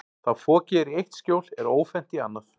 Þá fokið er í eitt skjól er ófennt í annað.